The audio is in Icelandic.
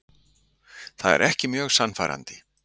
Það er ekki mjög sannfærandi.